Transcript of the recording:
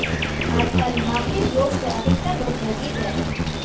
आजकल मांगलिक योग से अधिकतर लोग भयभीत रहते है